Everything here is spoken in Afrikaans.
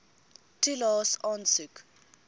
toelaes aansoek